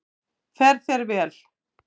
Fer þér vel!